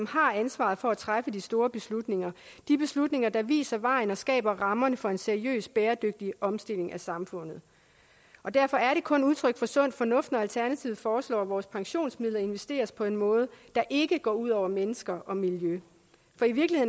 har ansvaret for at træffe de store beslutninger de beslutninger der viser vejen og skaber rammerne for en seriøs bæredygtig omstilling af samfundet derfor er det kun udtryk for sund fornuft når alternativet foreslår at vores pensionsmidler investeres på en måde der ikke går ud over mennesker og miljø det